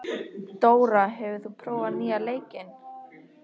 Dóra, hefur þú prófað nýja leikinn?